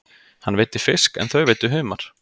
Hann veiddi fisk en þau veiddu humar.